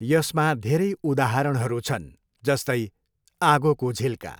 यसमा धेरै उदाहरणहरू छन्, जस्तै आगोको झिल्का।